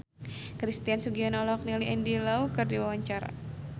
Christian Sugiono olohok ningali Andy Lau keur diwawancara